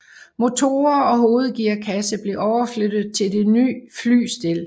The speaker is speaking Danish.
Motorer og hovedgearkasse blev overflyttet til det nye flystel